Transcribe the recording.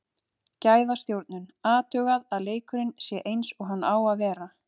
Gæðastjórnun, athugað að leikurinn sé eins og hann á að vera.